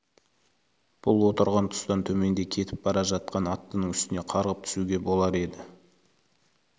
бұл отырған тұстан төменде кетіп бара жатқан аттының үстіне қарғып түсуге болар еді